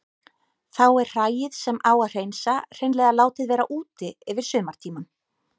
Þá er hræið sem á að hreinsa hreinlega látið vera úti yfir sumartímann.